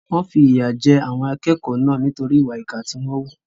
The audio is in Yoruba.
Wọ́n fìyà jẹ àwọn akẹ́kọ̀ọ́ náà nítorí ìwà ìkà tí wọ́n wù.